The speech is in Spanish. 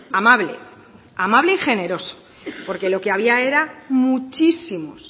amable amable y generoso porque lo que había era muchísimos